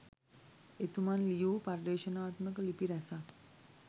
එතුමන් ලියූ පර්යේෂණාත්මක ලිපි රැසක්